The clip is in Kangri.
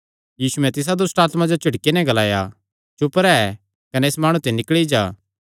यीशुयैं तिसा दुष्टआत्मा जो झिड़की नैं ग्लाया चुप रैह् कने इस माणु ते निकल़ी जा